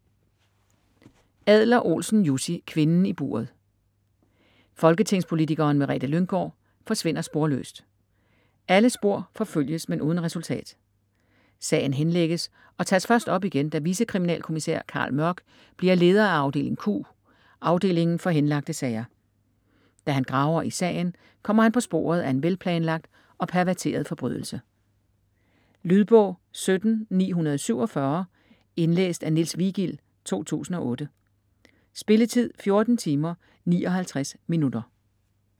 Adler-Olsen, Jussi: Kvinden i buret Folketingspolitikeren Merete Lynggaard forsvinder sporløst. Alle spor forfølges, men uden resultat. Sagen henlægges og tages først op igen, da vicekriminalkommisær Carl Mørck bliver leder af afdeling Q, afdelingen for henlagte sager. Da han graver i sagen, kommer han på sporet af en velplanlagt og perverteret forbrydelse. Lydbog 17947 Indlæst af Niels Vigild, 2008. Spilletid: 14 timer, 59 minutter.